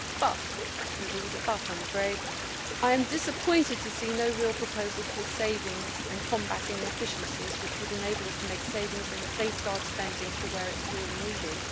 But there is always a but I am afraid! I am disappointed to see no real proposal for savings and combating inefficiencies which would enable us to make savings and safeguard spending for where it is really needed.